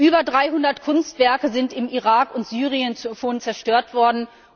Über 300 Kunstwerke sind im Irak und Syrien schon zerstört worden.